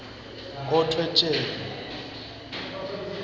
nkhotfwetjeni